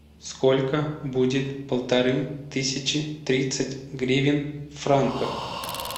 сколько будет полторы тысячи тридцать гривен в франках